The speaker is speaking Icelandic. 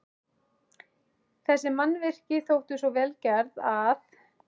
Þessi mannvirki þóttu svo vel gerð, að